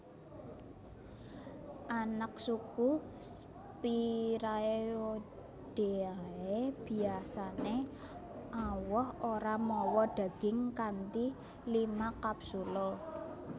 Anaksuku Spiraeoideae Biasané awoh ora mawa daging kanthi lima kapsula